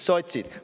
Need olid sotsid.